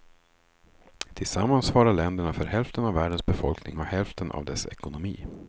Tillsammans svarar länderna för hälften av världens befolkning och hälften av dess ekonomi.